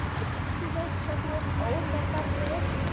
Þú veist að þú ert ómetanleg.